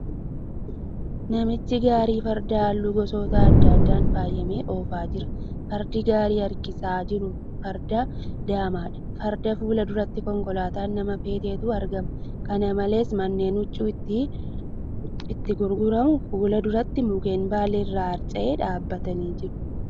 Namichi gaarii fardaa halluu gosoota adda addaan faayame oofa jira. Fardi gaarii harkisaa jiru farda daamadha. Farda fuulduratti konkolaataan nama feetutu argama. Kana malees, manneen huccuun itti gurguramu fuuldura mukkeen baalli irraa harca'e dhaabatanii jiru.